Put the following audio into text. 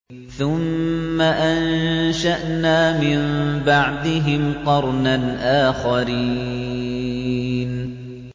ثُمَّ أَنشَأْنَا مِن بَعْدِهِمْ قَرْنًا آخَرِينَ